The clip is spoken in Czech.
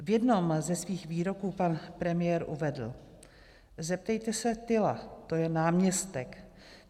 V jednom ze svých výroků pan premiér uvedl: Zeptejte se Tyla, to je náměstek.